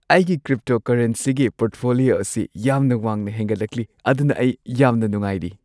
ꯑꯩꯒꯤ ꯀ꯭ꯔꯤꯞꯇꯣꯀꯔꯦꯟꯁꯤꯒꯤ ꯄꯣꯔꯠꯐꯣꯂꯤꯑꯣ ꯑꯁꯤ ꯌꯥꯝꯅ ꯋꯥꯡꯅ ꯍꯦꯟꯒꯠꯂꯛꯂꯤ ꯑꯗꯨꯅ ꯑꯩ ꯌꯥꯝꯅ ꯅꯨꯡꯉꯥꯏꯔꯤ꯫